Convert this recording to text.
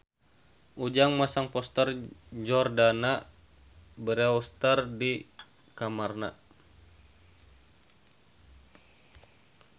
Ujang masang poster Jordana Brewster di kamarna